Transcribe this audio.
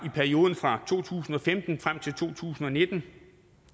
i perioden fra to tusind og femten frem til to tusind og nitten